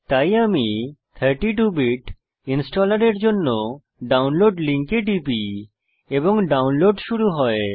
তাই আমি 32 bit installer এর জন্য ডাউনলোড লিঙ্কে টিপি এবং ডাউনলোড শুরু হয়